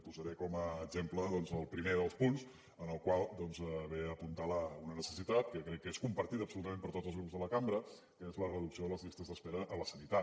posaré com a exemple doncs el primer dels punts en el qual doncs ve a apuntar una necessitat que crec que és compartida absolutament per tots els grups de la cambra que és la reducció de les llistes d’espera a la sanitat